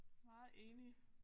Meget enig